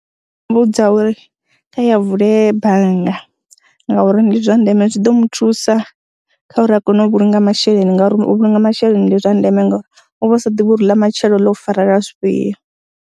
Mmbudza uri kha ye a vule bannga ngauri ndi zwa ndeme zwi ḓo mu thusa kha uri a kone u vhulunga masheleni ngauri u vhulunga masheleni ndi zwa ndeme ngori u vha u sa ḓivhi uri ḽa matshelo ḽo u farela zwifhio.